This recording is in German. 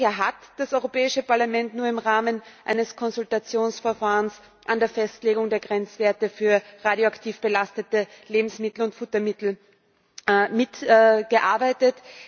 Bisher hat das Europäische Parlament nur im Rahmen eines Konsultationsverfahrens an der Festlegung der Grenzwerte für radioaktiv belastete Lebensmittel und Futtermittel mitgearbeitet.